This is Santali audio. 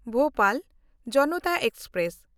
ᱵᱷᱳᱯᱟᱞ ᱡᱚᱱᱚᱛᱟ ᱮᱠᱥᱯᱨᱮᱥ